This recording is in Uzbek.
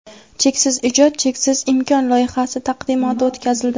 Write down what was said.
"Cheksiz ijod – cheksiz imkon" loyihasi taqdimoti o‘tkazildi.